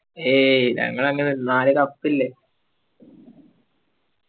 ഏയ്ഞങ്ങളങ്ങനല്ല നാല് cup ഇല്ലേ